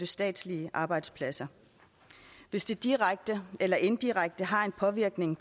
statslige arbejdspladser hvis det direkte eller indirekte har en påvirkning